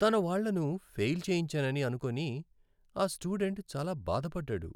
తన వాళ్ళను ఫెయిల్ చేయించానని అనుకొని ఆ స్టూడెంట్ చాలా బాధపడ్డాడు.